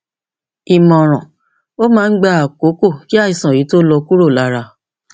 ìmọràn ó máa ń gba àkókò kí àìsàn yìí tó lọ kúrò lára